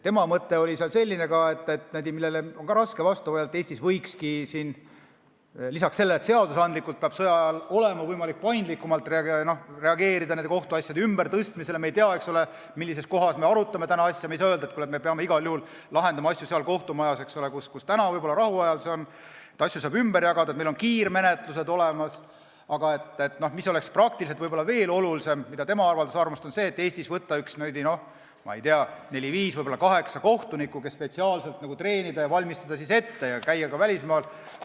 Tema mõte oli selline , et lisaks sellele, et sõja ajal peab seadusandlikult olema võimalik paindlikumalt kohtuasjade ümbertõstmisele reageerida – me ei tea, millises kohas me asju arutame, me ei saa öelda, et me peame igal juhul lahendama asju seal kohtumajas, kus võib-olla rahu ajal, asju saab ümber jagada, meil on kiirmenetlused olemas –, oleks praktiliselt võib-olla veel olulisem võtta neli-viis, võib-olla kaheksa kohtunikku, keda spetsiaalselt treenitakse ja ette valmistatakse, käiakse ka välismaal.